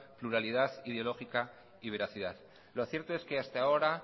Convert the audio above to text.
pluralidad ideológica y veracidad lo cierto es que hasta ahora